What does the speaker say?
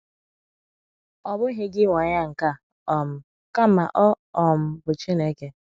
“ Ọ Bụghị gi Nwe Agha nke A um, Kama Ọ um Bụ Chineke ”